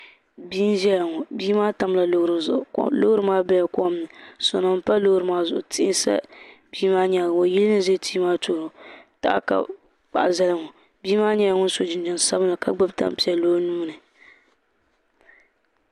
Bia n ʒɛya ŋɔ bia maa tamla loori zuɣu loori maa bela komni sona n pa loori maa zuɣu tihi sa bia maa nyaaga o yili n za tia maa tooni ŋɔ taha ka bɛ kpahi zali ŋɔ bia maa nyɛla ŋun so jinjiɛm sabinli ka gbibi tampiɛlli o nuuni.